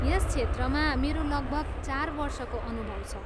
यस क्षेत्रमा मेरो लगभग चार वर्षको अनुभव छ।